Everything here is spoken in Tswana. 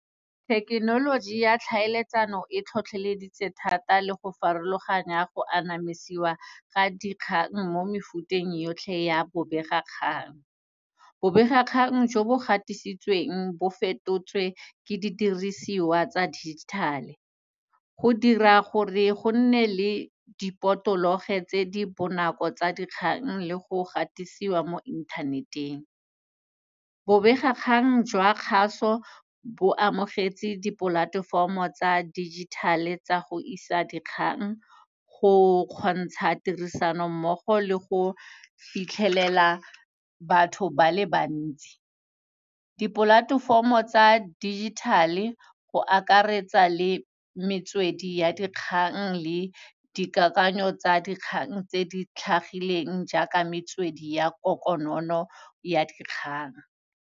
Thekenoloji ya tlhaeletsano e tlhotlheleditse thata le go farologanya go anamisiwa ga dikgang mo mefuteng yotlhe ya bobegakgang. Bobegakgang jo bo gatisitsweng bo fetotswe ke didirisiwa tsa digital-e. Go dira gore go nne le dipotologe tse di bonako tsa dikgang le go gatisiwa mo internet-eng. Bobegakgang jwa kgaso bo amogetse di-platform-o tsa digital-e tsa go isa dikgang, go kgontsha tirisanommogo le go fitlhelela batho ba le bantsi. Di-platform-o tsa digital-e go akaretsa le metswedi ya dikgang le dikakanyo tsa dikgang tse di tlhagileng jaaka metswedi ya konokono ya dikgang.